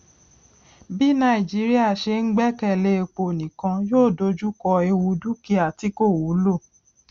bí nàìjíríà ṣe ń gbẹkèlé epo nìkan yóò dojú kọ ewu dúkíá tí kò wúlò